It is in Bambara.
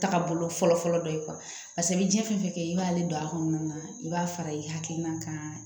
Taga bolo fɔlɔ fɔlɔ dɔ ye paseke i bɛ jiɲɛ fɛn fɛn kɛ i b'ale don a kɔnɔna na i b'a fara i hakilina kan